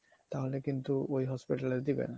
তাহলে কিন্তু ওই hospital এ দেবে না